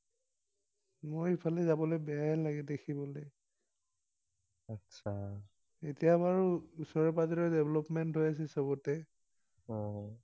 মই এইফালে যাবলে বেয়ায়ে লাগে দেখিবলৈ। এতিয়া বাৰু ওচৰে পাজৰে development হৈ আছে সবতে।